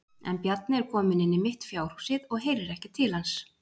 En Bjarni er kominn inn í mitt fjárhúsið og heyrir ekki til hans.